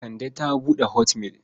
Kande ta buɗe hotmail.